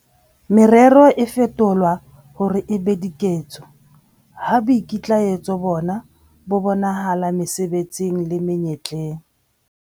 Merero e fetolwa hore e be diketso ha boikitlaetso bona bo bonahala mesebetsing le menyetleng.